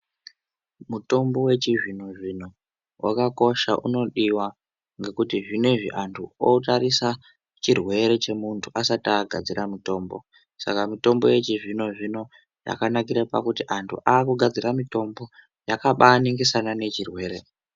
Mutombo wechizvino-zvino wakakosha unodiwa, ngekuti zvinezvi antu otarisa chirwere chemuntu, asati agadzira mutombo. Saka mutombo yechizvino-zvino yakanakira kuti antu aakugadzira mitombo ,yakabaaningisana nechirwere.